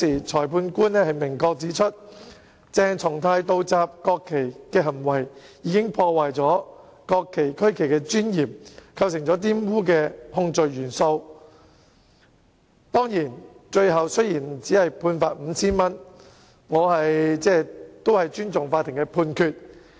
裁判官當時明確指出，鄭松泰議員倒插國旗的行為，破壞國旗區旗的尊嚴，符合玷污國旗區旗的控罪元素，雖然他最後只被判罰款 5,000 元，但我尊重法庭的判決。